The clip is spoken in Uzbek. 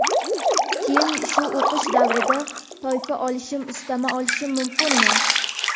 keyin shu o‘qish davrida toifa olishim ustama olishim mumkinmi?.